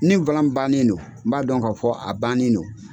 Ni bannen do n b'a dɔn k'a fɔ a bannen do.